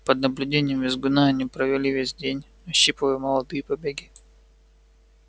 под наблюдением визгуна они провели весь день ощипывая молодые побеги